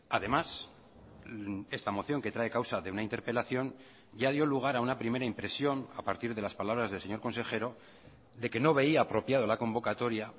además esta moción que trae causa de una interpelación ya dio lugar a una primera impresión a partir de las palabras del señor consejero de que no veía apropiado la convocatoria